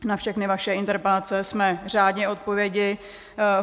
Na všechny vaše interpelace jsme řádně odpověděli.